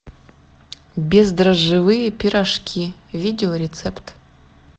бездрожжевые пирожки видеорецепт